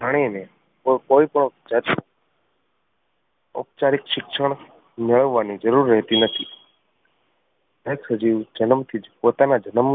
જાણી ને કોઈ પણ ઔપચારિક ઔપચારિક શિક્ષણ મેળવવાની જરૂર રહેતી નથી. દરેક સજીવ જન્મ થી જ પોતાના જનમ